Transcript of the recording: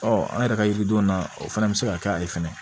Ɔ an yɛrɛ ka yiridenw na o fana bɛ se ka kɛ a ye fɛnɛ